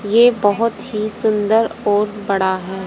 ये बहोत ही सुंदर और बड़ा है।